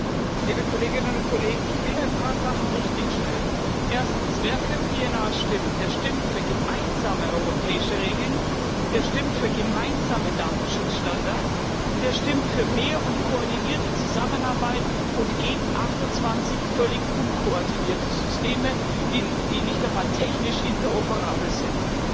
Herr Präsident, liebe Kolleginnen und Kollegen! Ich will ein paar Sachen richtigstellen. Erstens Wer für PNR stimmt, der stimmt für gemeinsame europäische Regeln, der stimmt für gemeinsame Datenschutzstandards, und der stimmt für mehr und koordinierte Zusammenarbeit und gegen 28 völlig unkoordinierte Systeme, die nicht einmal technisch interoperabel sind.